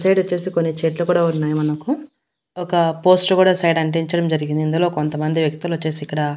అటు సైడ్ వచ్చేసి కొన్ని చెట్లు కూడా ఉన్నాయి మనకు ఒక పోస్టర్ కూడా సైడ్ అంటించడం జరిగింది ఇందులో కొంతమంది వ్యక్తులొచ్చేసి ఇక్కడ--